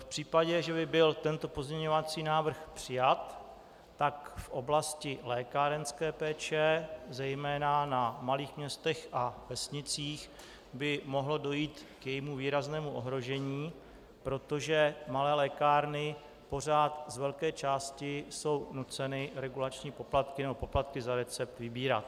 V případě, že by byl tento pozměňovací návrh přijat, tak v oblasti lékárenské péče, zejména na malých městech a vesnicích, by mohlo dojít k jejímu výraznému ohrožení, protože malé lékárny pořád z velké části jsou nuceny regulační poplatky nebo poplatky za recept vybírat.